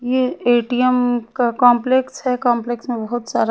ये ए_टी_एम का कंपलेक्स है कंपलेक्स में बहोत सारा--